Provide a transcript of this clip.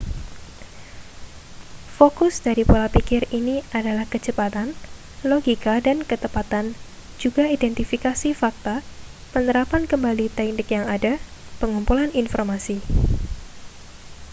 fokus dari pola pikir ini adalah kecepatan logika dan ketepatan juga identifikasi fakta penerapan kembali teknik yang ada pengumpulan informasi